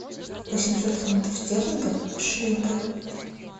восемьсот фунтов стерлингов в шиллингах